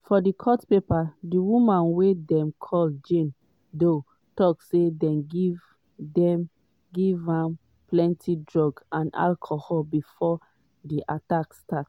for court papers di woman wey dem call jane doe tok say dem give dem give am plenti drugs and alcohol bifor di attack start.